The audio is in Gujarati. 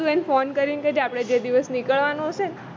તું એને ફોન કરીને કેજે આપણે જે દિવસે નીકળવાનું હશેને